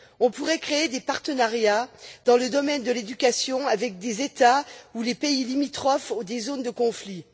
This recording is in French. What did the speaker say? On pourrait créer des partenariats dans le domaine de l'éducation avec des États ou des pays limitrophes ou des zones de conflit.